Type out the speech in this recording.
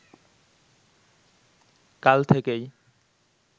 কাল থেকেই